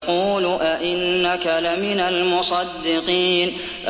يَقُولُ أَإِنَّكَ لَمِنَ الْمُصَدِّقِينَ